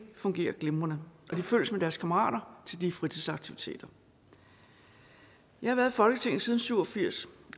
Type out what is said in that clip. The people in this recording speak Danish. fungerer glimrende og de følges med deres kammerater til de fritidsaktiviteter jeg har været i folketinget siden nitten syv og firs